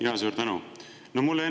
Jaa, suur tänu!